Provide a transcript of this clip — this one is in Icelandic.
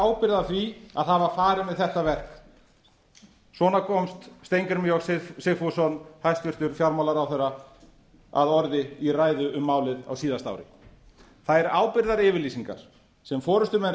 ábyrgð á því að hafa farið með þetta verk svona komst steingrímur j sigfússon hæstvirtur fjármálaráðherra að orði í ræðu um málið á síðasta ári þær ábyrgðaryfirlýsingar sem forustumenn